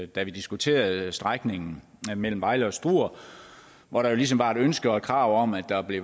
da vi diskuterede strækningen mellem vejle og struer hvor der jo ligesom var et ønske og et krav om at der blev